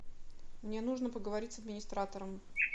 мне нужно поговорить с администратором